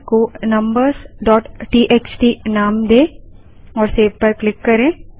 file को numbersटीएक्सटी नाम दें और सेव पर क्लिक करें